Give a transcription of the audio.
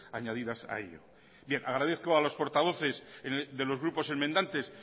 añadidas a ello bien agradezco a los portavoces de los grupos enmendantes